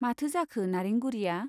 माथो जाखो नारेंगुरीया ?